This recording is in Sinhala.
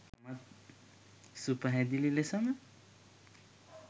සුපැහැදිලි ලෙස ම